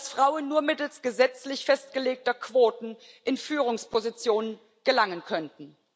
dass Frauen nur mittels gesetzlich festgelegter Quoten in Führungspositionen gelangen könnten.